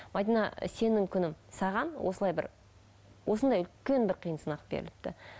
мәдина сенің күнің саған осылай бір осындай үлкен бір қиын сынақ беріліпті